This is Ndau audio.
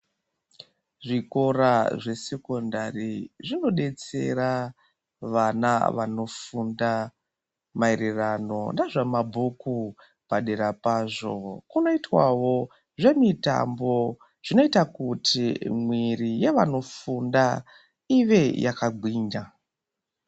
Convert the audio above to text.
Zvikora zvesekondari zvinodetsera vana vanofunda mairirano nezvamabhuku padera pazvo kunoitwawo zvemutambo zvinoita kuti mwiri yevanofunda ive yakagwinya.